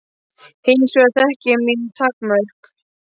Hins vegar þekki ég mín takmörk.